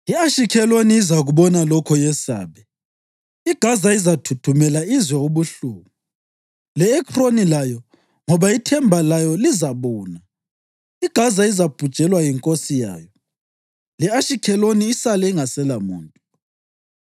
I-Ashikheloni izakubona lokho yesabe; iGaza izathuthumela izwe ubuhlungu, le-Ekroni layo, ngoba ithemba layo lizabuna. IGaza izabhujelwa yinkosi yayo le-Ashikheloni isale ingaselamuntu.